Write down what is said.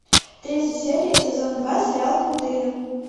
третья серия сезон два сериал крутые